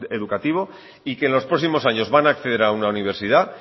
educativo y que en los próximos años van a acceder a una universidad